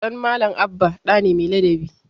Ɗan Malam Abba ɗa ne mai ladabi.